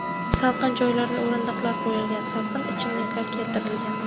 Salqin joylarga o‘rindiqlar qo‘yilgan, salqin ichimliklar keltirilgan.